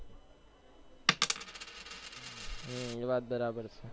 હમ વાત બરાબર છે